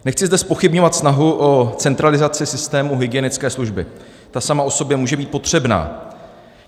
Nechci zde zpochybňovat snahu o centralizaci systému hygienické služby, ta sama o sobě může být potřebná.